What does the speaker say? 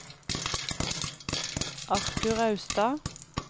Arthur Austad